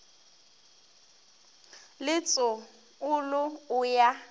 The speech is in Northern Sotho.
le tso olo o ya